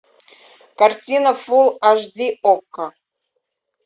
картина фулл аш ди окко